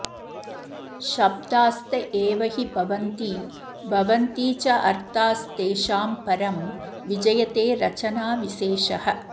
शब्दास्त एव हि भवन्ति भवन्ति चोर्थास्तेषां परं विजयते रचनाविशेषः